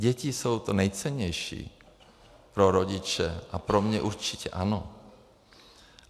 Děti jsou to nejcennější pro rodiče a pro mě určitě ano.